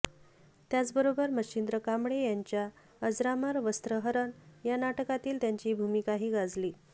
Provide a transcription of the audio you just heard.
त्याचबरोबर मच्छिंद्र कांबळी यांच्या अजरामर वस्त्रहरण या नाटकातील त्यांची भूमिकाही गाजली